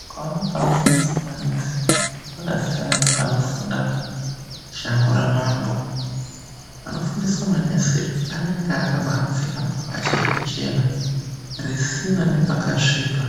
Ukaona panofundiswa manesi pakasiyana nepanofunda shango ramambo. Panofundiswa manesi anenge akabaapfeka mabhachi ekuchena, risina nepakasvipa.